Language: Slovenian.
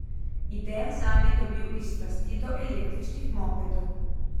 Idejo zanj je dobil iz strasti do električnih mopedov.